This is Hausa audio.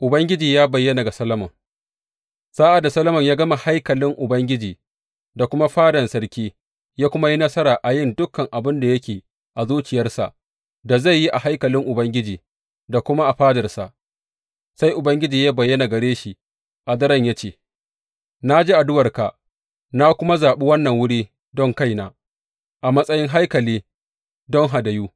Ubangiji ya bayyana ga Solomon Sa’ad da Solomon ya gama haikalin Ubangiji da kuma fadan sarki ya kuma yi nasara a yin dukan abin da yake a zuciyarsa da zai yi a haikalin Ubangiji da kuma a fadarsa, sai Ubangiji ya bayyana gare shi a daren ya ce, Na ji addu’arka na kuma zaɓi wannan wuri don kaina, a matsayin haikali don hadayu.